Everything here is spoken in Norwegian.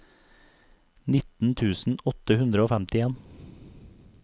nitten tusen åtte hundre og femtien